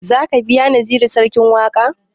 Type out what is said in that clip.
Za ka biya naziru sarkin waƙa?